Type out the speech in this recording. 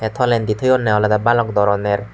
tolendi toyonne olode balok doroner.